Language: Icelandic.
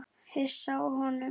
Hissa á honum.